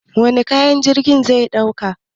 Wane kayan jirgin zai dauka?